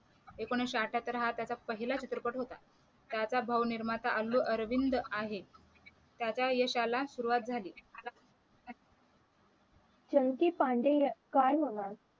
एकोणीशे अठ्ठ्याहत्तर हा त्याचा पहिला चित्रपट होता त्याचा भाऊ निर्माता अल्लू अरविंद आहे त्याचा यशाला सुरुवात झाली चंकी पांडे यां काय म्हणाल